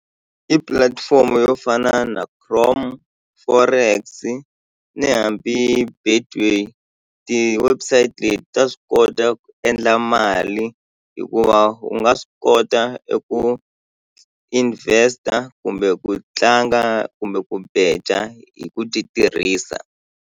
I pulatifomo yo fana na chrome forex ni hambi Betway ti-website leti ta swi kota ku endla mali hikuva u nga swi kota eku invest-a kumbe ku tlanga kumbe ku beja hi ku ti tirhisa.